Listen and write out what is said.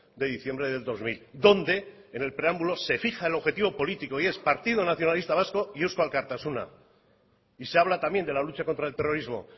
de diciembre del dos mil donde en el preámbulo se fija el objetivo político y es partido nacionalista vasco y eusko alkartasuna y se habla también de la lucha contra el terrorismo